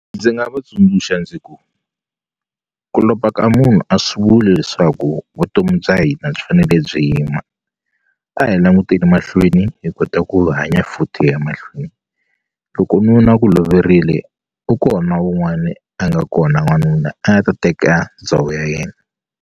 Ndzi nga va tsundzuxa ndzi ku ku lova ka munhu a swi vuli leswaku vutomi bya hina byi fanele byi yima a hi languteni mahlweni hi kota ku hanya futhi hi ya mahlweni loko nuna a ku loverile u kona wun'wani a nga kona n'wanuna a nga ta teka ndhawu ya yena.